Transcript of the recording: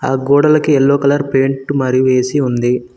ఆ గోడలకు yellow colour paint మరి వేసి ఉంది.